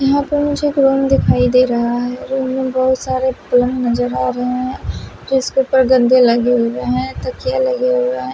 यहाँ पर मुझे एक रूम दिखाई दे रहा है रूम में बहुत सारे फोन नज़र आ रहे है इसके ऊपर गद्दे लगे हुए है तकियाँ लगे हुए है।